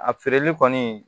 A feereli kɔni